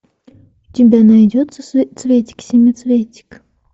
у тебя найдется цветик семицветик